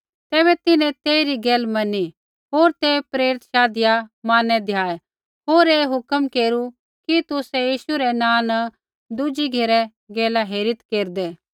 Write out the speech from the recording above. तैबै तिन्हैं तेइरी गैल मैनी होर ते प्रेरित शाधिआ मारनै द्याऐ होर ऐ हुक्म केरू कि तुसै यीशु रै नाँ न दुज़ी घेरै गैला हेरीत् केरदै